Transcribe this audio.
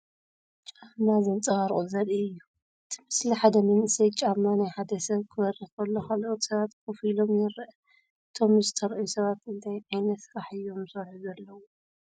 ጫማ ዘንጸባርቑ ዘርኢ እዩ። እቲ ምስሊ ሓደ መንእሰይ ጫማ ናይ ሓደ ሰብ ከብርህ ከሎ ካልኦት ሰባት ኮፍ ኢሎም ይርአ። እቶም ዝተርኣዩ ሰባት እንታይ ዓይነት ስራሕ እዮም ዝሰርሑ ዘለዉ?